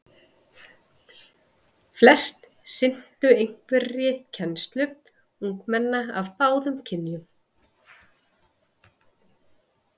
Flest sinntu einhverri kennslu ungmenna af báðum kynjum.